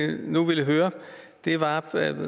jeg nu ville høre var at